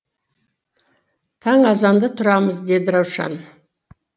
таң азанда тұрамыз деді раушан